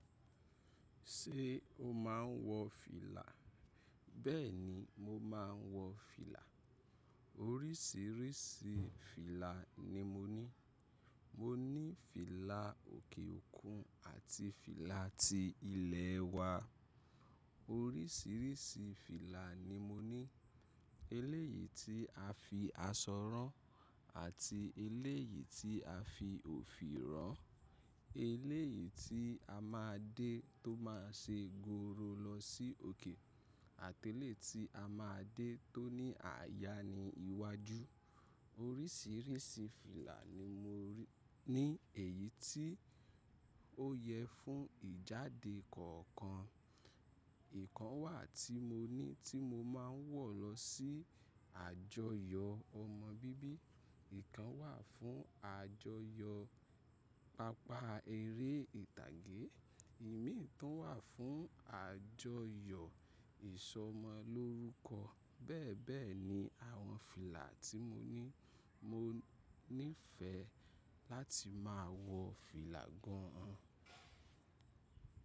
Ṣé o máa ń wọ fìlà? Bẹ́ẹ̀ni, mo máa ń wọ fìlà. Oríṣìíríṣìí fìlà ni mo ní. Mo ní fìlà òkè òkun àti fìlà ti ilẹ̀ wa. Oríṣìíríṣìí fìlà ni mo ní. Eléyìí tí a fi asọ rán àti eléyìí tí a fi òfì rán, eléyìí tí a máa dé tó máa ṣe goro lọ sí òkè àti eléyìí tí a máa dé tó ní àyà ní iwájú. Oríṣìíríṣìí fìlà ni mo ri--- ní èyí tí ó yẹ fún ìjáde kọ̀ọ̀kan. Ìkan wà tí mo ní tí mo máa ń wọ̀ lọ sí àjọyọ̀ ọmọ bíbí, ìkan wà fún àjọyọ̀ pápá eré ìtàgé, ìmíì tó ń wà fún àjọyọ̀ ìsọmọlórúkọ. Bẹ́ẹ̀ bẹ́ẹ̀ ni àwọn fìlà tí mo ní. Mo nífẹ̀ẹ́ láti máa wọ fìlà gan an.